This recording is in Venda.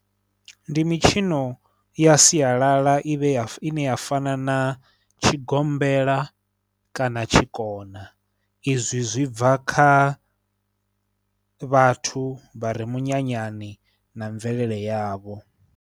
Ndi mitshino ya sialala i vhe ya, ine ya fana na tshigombela kana tshikona izwi zwi bva kha vhathu vha re minyanyani na mvelele yavho.